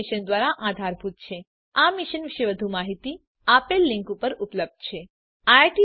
આ મિશન પર વધુ માહીતી આ લીંક પર ઉપલબ્ધ છે spoken hyphen tutorial dot org slash NMEICT hyphen intro